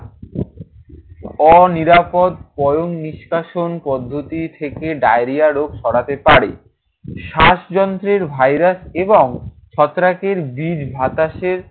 অনিরাপদ পয়ঃনিষ্কাশন পদ্ধতি থেকে ডায়রিয়া রোগ ছড়াতে পারে। শ্বাসযন্ত্রের ভাইরাস এবং ছত্রাকের বিষ বাতাসের